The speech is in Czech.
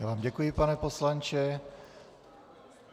Já vám děkuji, pane poslanče.